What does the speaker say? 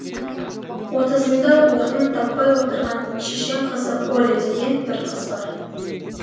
отызында орнын таппай отырған шешен қызы оля деген бір қыз бар